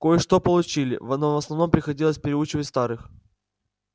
кое-что получили но в основном приходилось переучивать старых